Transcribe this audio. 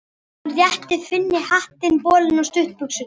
Hann rétti Finni hattinn, bolinn og stuttbuxurnar.